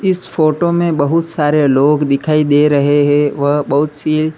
इस फोटो में बहुत सारे लोग दिखाई दे रहे हैं वह बहुत सी--